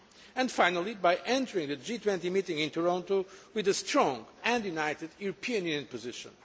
and finally, by entering the G20 meeting in Toronto with a strong and united European Union position.